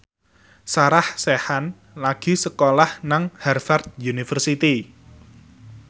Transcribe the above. Sarah Sechan lagi sekolah nang Harvard university